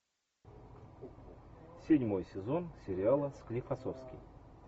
седьмой сезон сериала склифосовский